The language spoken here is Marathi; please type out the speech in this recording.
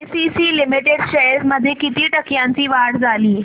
एसीसी लिमिटेड शेअर्स मध्ये किती टक्क्यांची वाढ झाली